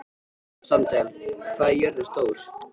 Sandel, hvað er jörðin stór?